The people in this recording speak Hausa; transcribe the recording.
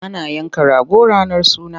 Ana yanka rago ranar suna.